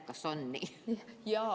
Kas on nii?